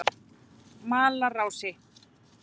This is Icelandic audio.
Malarási